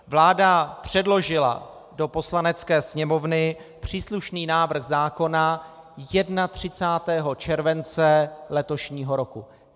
Vláda předložila do Poslanecké sněmovny příslušný návrh zákona 31. července letošního roku.